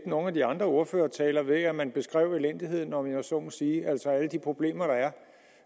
nogle af de andre ordførertaler ved at man beskrev elendigheden om jeg så må sige altså alle de problemer der er